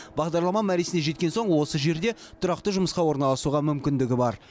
бағдарлама мәресіне жеткен соң осы жерде тұрақты жұмысқа орналасуға мүмкіндігі бар